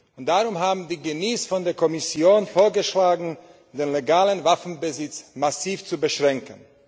Und darum haben die Genies von der Kommission vorgeschlagen, den legalen Waffenbesitz massiv zu beschränken.